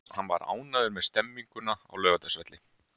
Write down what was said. Hann var ánægður með stemninguna á Laugardalsvelli.